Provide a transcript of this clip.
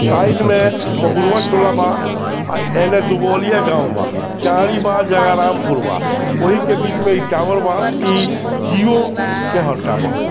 Side में महुआ टोला बा अ एने दुबौलिया गांव बा बा जगह रामपुर बा ओहि के बीच में ई टावर बा ई जियो के ह टावर ।